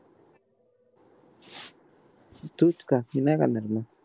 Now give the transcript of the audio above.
तुच खा मी नाही खाणार मग